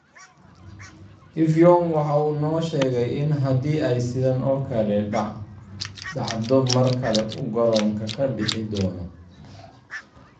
Effiong waxa uu noo sheegay in haddii ay sidan oo kale dhacdo mar kale uu garoonka ka bixi doono.